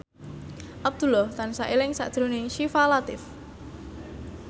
Abdullah tansah eling sakjroning Syifa Latief